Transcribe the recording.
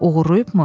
Oğurlayıbmı?